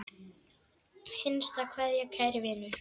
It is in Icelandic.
HINSTA KVEÐJA Kæri vinur.